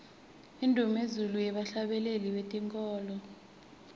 indumezulu yebahhlabeleli betenkholo